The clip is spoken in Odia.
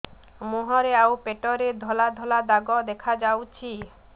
ମୁହଁରେ ଆଉ ପେଟରେ ଧଳା ଧଳା ଦାଗ ଦେଖାଯାଉଛି